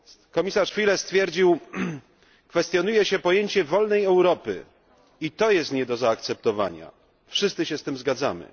Komisarz Füle stwierdził, że kwestionuje się pojęcie wolnej Europy i to jest nie do zaakceptowania, wszyscy się z tym zgadzamy.